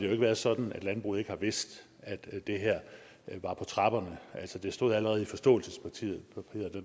har været sådan at landbruget ikke har vidst at det her var på trapperne altså det stod allerede i forståelsespapiret